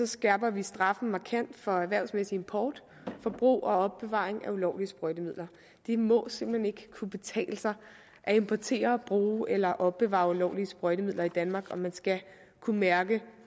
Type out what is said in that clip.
skærper vi straffen markant for erhvervsmæssig import og for brug og opbevaring af ulovlige sprøjtemidler det må simpelt hen ikke kunne betale sig at importere og bruge eller opbevare ulovlige sprøjtemidler i danmark og man skal kunne mærke